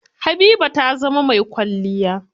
Habiba ta zama mai kwalliya.